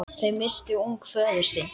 Þau misstu ung föður sinn.